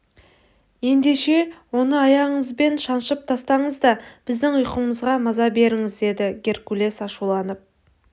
ендеше оны аяғыңызбен жаншып тастаңыз да біздің ұйқымызға маза беріңіз деді геркулес ашуланып